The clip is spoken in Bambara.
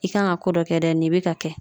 I kan ka ko dɔ kɛ dɛ nin be ka kɛ